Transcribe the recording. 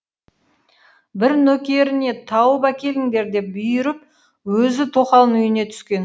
бір нөкеріне тауып әкеліңдер деп бұйырып өзі тоқалының үйіне түскен